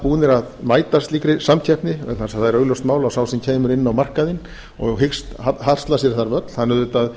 búnir að mæta slíkri samkeppni þar sem það er augljóst mál að sá sem kemur inn á markaðinn og hyggst hasla sér þar völl leitast auðvitað